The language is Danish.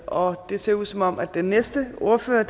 og det ser ud som om den næste ordfører